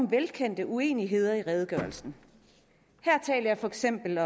velkendte uenigheder i redegørelsen her tænker jeg for eksempel